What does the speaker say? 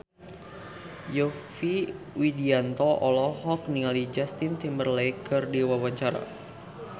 Yovie Widianto olohok ningali Justin Timberlake keur diwawancara